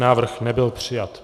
Návrh nebyl přijat.